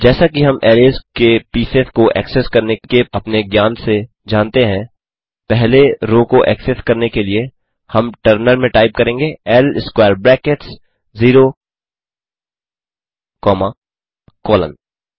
जैसा कि हम अरैज़ के पीसेस को एक्सेस करने के अपने ज्ञान से जानते हैं पहले रो को एक्सेस करने के लिए हम टर्मिनल में टाइप करेंगे l square brackets 0 comma colon